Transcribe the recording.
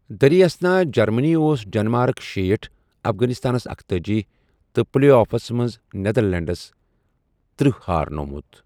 دریں اسنا جرمنی اوس ڈیٚنمارٕک شیٹھ ,، افغٲنِستانَس اکتأجی ، تہٕ پٕلے آفس منٛز نیٚدرلینٛڈس تٔرہ ہارنوومٗت ۔